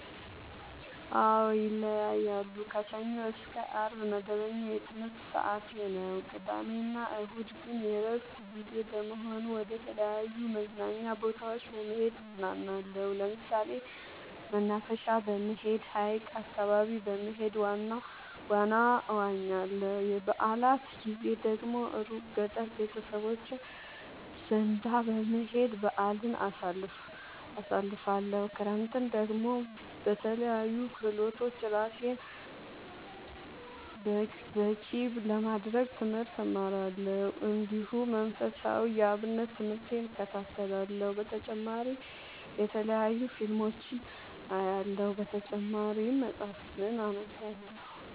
አዎ ይለያያለሉ። ከሰኞ እስከ አርብ መደበኛ የትምህርት ሰዓቴ ነው። ቅዳሜ እና እሁድ ግን የእረፍት ጊዜ በመሆኑ መደተለያዩ መዝናኛ ቦታዎች በመሄድ እዝናናለሁ። ለምሳሌ መናፈሻ በመሄድ። ሀይቅ አካባቢ በመሄድ ዋና እዋኛለሁ። የበአላት ጊዜ ደግሞ እሩቅ ገጠር ቤተሰቦቼ ዘንዳ በመሄድ በአልን አሳልፍለሁ። ክረምትን ደግሞ በለያዩ ክህሎቶች እራሴን ብቀሐ ለማድረግ ትምህርት እማራለሁ። እንዲሁ መንፈሳዊ የአብነት ትምህርቴን እከታተላለሁ። በተጨማሪ የተለያዩ ፊልሞችን አያለሁ። በተጨማሪም መፀሀፍትን አነባለሁ።